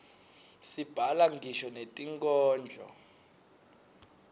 sibhala ngisho netinkhondlo